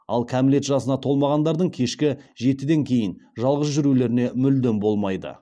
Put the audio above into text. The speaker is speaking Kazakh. ал кәмілет жасына толмағандардың кешкі жетіден кейін жалғыз жүрулеріне мүлдем болмайды